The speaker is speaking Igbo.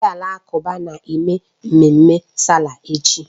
Ndị Alakụba na-eme mmemme sáálà echi